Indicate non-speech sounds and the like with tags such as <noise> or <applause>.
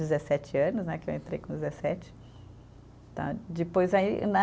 Dezessete anos né, que eu entrei com dezessete. Tá. Depois aí <unintelligible>